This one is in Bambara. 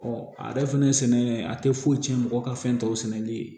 a yɛrɛ fɛnɛ sɛnɛ a tɛ foyi cɛn mɔgɔ ka fɛn tɔw sɛnɛli ye